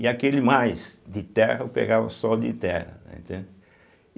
E aquele mais de terra, eu pegava só de terra, né, entende.